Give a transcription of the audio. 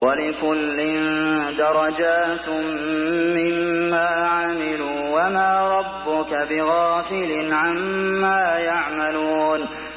وَلِكُلٍّ دَرَجَاتٌ مِّمَّا عَمِلُوا ۚ وَمَا رَبُّكَ بِغَافِلٍ عَمَّا يَعْمَلُونَ